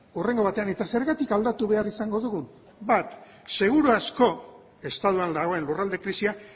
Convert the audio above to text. hurrengo batean eta zergatik aldatu behar izango dugu bat seguru asko estatuan dagoen lurralde krisia